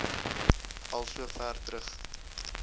al sover terug